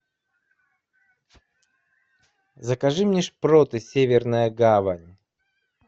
закажи мне шпроты северная гавань